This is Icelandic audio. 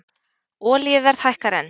Olíuverð hækkar enn